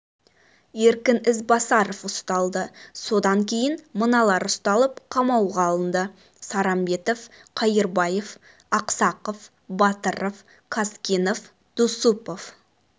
еркін ізбасаров ұсталды сондай-ақ кейін мыналар ұсталып қамауға алынды сарамбетов кайырбаев аксаков батыров казкенов дусупов